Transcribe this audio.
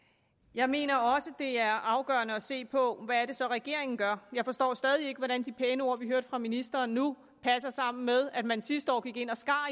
jeg mener også det er afgørende at se på hvad det så er regeringen gør jeg forstår stadig ikke hvordan de pæne ord vi hørte fra ministeren nu passer sammen med at man sidste år gik ind og skar